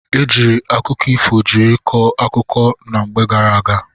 E jiiri akụkọ ifo jiri kọọ akụkọ na mgbe gara aga.